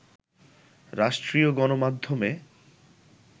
রাষ্ট্রীয় গণমাধ্যমে